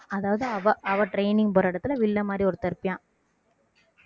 அதாவது அவ அவ training போற இடத்திலே வில்லன் மாதிரி ஒருத்தன் இருப்பியான்